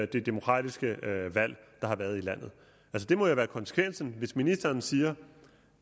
det demokratiske valg der har været i landet det må jo være konsekvensen hvis ministeren siger